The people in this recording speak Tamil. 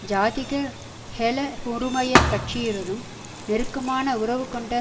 ஜாதிக ஹெல உறுமய கட்டுசியுடனும் நெருக்கமான உறவுகொண்ட